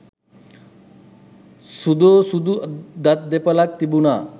සුදෝසුදු දත් දෙපෙළක් තිබුනා